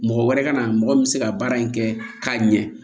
Mɔgɔ wɛrɛ ka na mɔgɔ min bɛ se ka baara in kɛ k'a ɲɛ